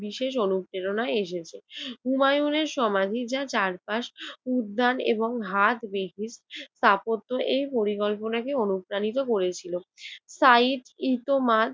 বিশেষ অনুপ্রেরণা এসেছে। হুমায়ুনের সমাধি যা চারপাশ উদ্যান এবং হাট স্থাপত্য এর পরিকল্পনা কে অনুপ্রাণিত করেছিল সাইদ ই